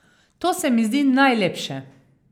To se mi zdi najlepše.